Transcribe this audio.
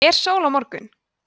er sól á morgun